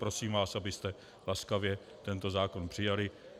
Prosím vás, abyste laskavě tento zákon přijali.